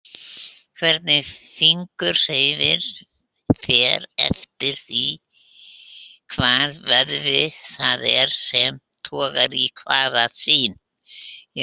Hvernig fingur hreyfist fer eftir því hvaða vöðvi það er sem togar í hvaða sin.